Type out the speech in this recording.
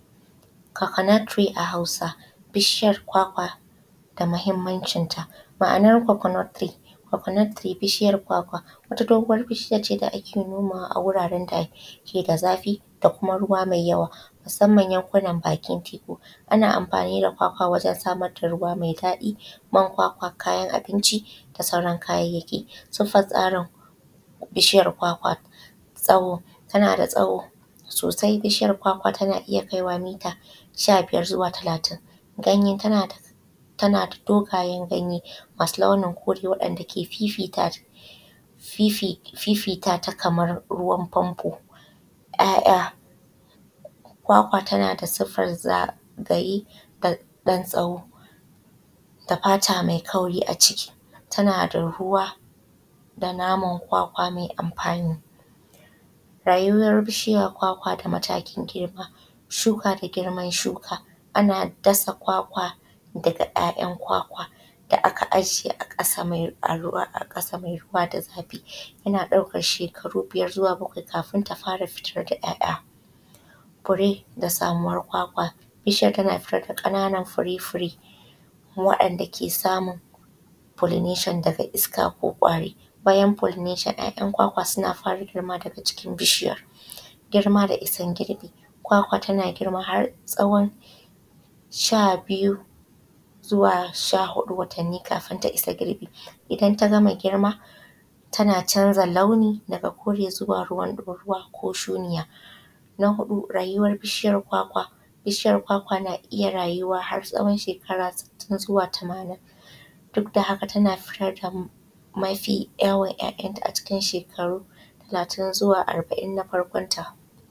Kokonut tiri a hausa bishiyar kwakwa da mahimmancin ta. Ma’anar kokonut tiri bishiyar kwakwa wata doguwar bishiyace da ake nomawa a guraren dake da zafi da kuma ruwa mai yawa musamman yankuna bakin teku. Ana amfani da kwakwa wajen samar da ruwamai daɗi man kwakwa kayan abinci da sauran kayayyaki. Siffar tsarin bishiyar kwakwa tsawo tanada tsawo sosai bishiyar klwakwa tana iyya kai kita shabiyar zuwa talatin. Ganye tanada dogayen ganye masu launin kore wa’yan’da ke fifita Kaman ruwan famfo. ’ya’’ya’ kwakwa tanada sifar zagaye da ɗan tsawo da fata mai kauri a ciki tana da ruwa da naman kwakawa mai amfani. Rayuwar bishiyar kwakwa da matakin girma shuka da girman shuka ana dasa kwakwa daga ‘ya’’yan’ kwakwa da aka aje a ƙasa mai ruwa da zafi yana ɗaukan shekaru biyar zuwa bakwai kafin ta fara fitar da ‘ya’’ya’. Fure da samuwar kwakwa bishiyar tana fitar da ƙananan fure fure waɗan da ke samun folinashon daga iska ko kwari. Bayan folinashon ‘ya’’yan’ kwakwa suna fara girma a jikin bishiyar, girma da issan girbi tana girma har tsawon sha huɗu zuwa sha huɗu watanni kafin ta issa girbi idan tagama girma tana canza launi daga kore zuwa ruwan ɗaurawa ko shuɗiya. Rayuwar bishiyar kwakwa bishiyar kwakwa na iyya rayuwa har tsawon shekara sittin zuwa tamanin dukda haka tana fitar da mafi yawan ‘ya’’yan’ ta a cikin shekaru talatin zuwa arba’in nan a farkon rayuwanta.